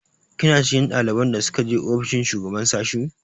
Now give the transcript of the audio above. Kina cikin ɗaliban da suka je ofishin shugaban sashi?